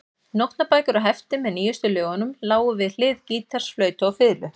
Nótnabækur og hefti með nýjustu lögunum lágu við hlið gítars, flautu og fiðlu.